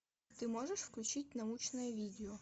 ты можешь включить научное видео